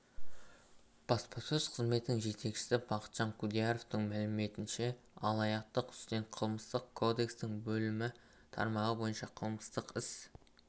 баспасөз қызметінің жетекшісі бақытжан құдияровтың мәліметінше алаяқтың үстінен қылмыстық кодекстің бөлімі тармағы бойынша қылмыстық іс